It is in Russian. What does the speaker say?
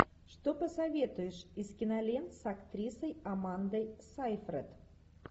что посоветуешь из кинолент с актрисой амандой сайфред